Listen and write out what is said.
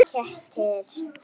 Malen: Kettir.